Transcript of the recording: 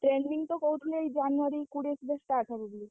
Training ତ କହୁଥିଲେ ଏଇ January କୋଡିଏ ସୁଦ୍ଧା start ହବ ବୋଲି।